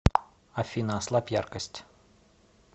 афина ослабь яркость